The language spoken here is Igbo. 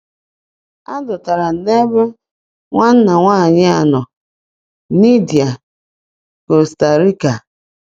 A dọtara m n’ebe nwanna nwanyị a nọ.” — Nidia, Costa Rica.